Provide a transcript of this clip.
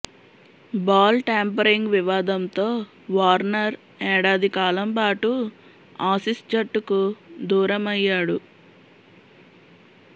ball tampering వివాదంతో Warner ఏడాది కాలం పాటు ఆసీస్ జట్టుకు దూరం అయ్యాడు